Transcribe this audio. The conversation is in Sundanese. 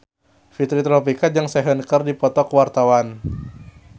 Fitri Tropika jeung Sehun keur dipoto ku wartawan